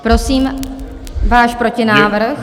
Prosím váš protinávrh.